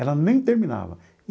Ela nem terminava.